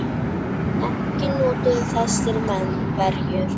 Ekki notuðu þessir menn verjur.